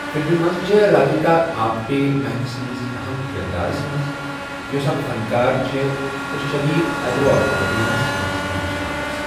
فِلمہِ منٛز چھےٚ رادِھکِا آپٹے مَہک سندِس اَہم کِردارس منٛز ، یۄسہٕ اَکھ فنکار چھےٚ تہٕ شٔدیٖد ایٚگورا فوبِیاہس منٛز ہٮ۪نہٕ چھےٚ آمٕژ۔